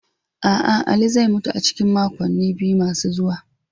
A'a, Ali zai mutu a cikin makonni biyu masu zuwa.